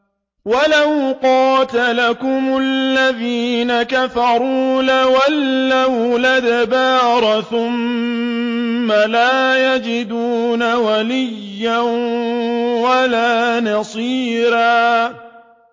وَلَوْ قَاتَلَكُمُ الَّذِينَ كَفَرُوا لَوَلَّوُا الْأَدْبَارَ ثُمَّ لَا يَجِدُونَ وَلِيًّا وَلَا نَصِيرًا